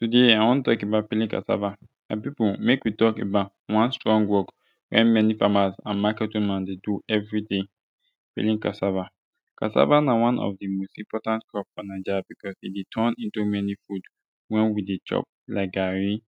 today i wan tok about peeling cassava my pipu mek wi tok about one strong wok wey mani famas and maket woman dey do evriday peeling cassava cassava na one of de most important crop fo naija becuz e dey turn into mani fud wen wi dey chop like garri